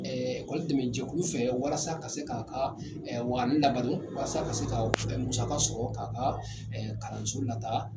k'olu dɛmɛ jɛkulu fɛ walasa ka se k'a ka waani labalo, walasa ka se ka musaka sɔrɔ, k'a ka kalanso lataa.